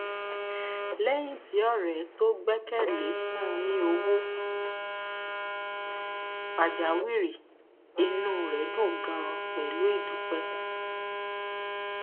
léyìn tí ọrẹ tó gbẹkẹ lé fún un ní owó pajawìrì inú rẹ dùn ganan pẹlú ìdúpẹ